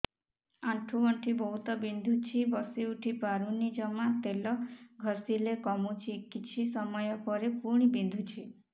ଆଣ୍ଠୁଗଣ୍ଠି ବହୁତ ବିନ୍ଧୁଛି ବସିଉଠି ପାରୁନି ଜମା ତେଲ ଘଷିଲେ କମୁଛି କିଛି ସମୟ ପରେ ପୁଣି ବିନ୍ଧୁଛି